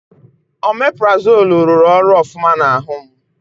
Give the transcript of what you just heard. Omeparazoolu rụrụ ọrụ ofụma n'ahụ m.